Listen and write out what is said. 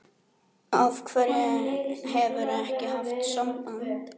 Af hverju hefurðu ekki haft samband?